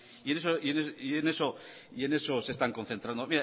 y en eso se están concentrando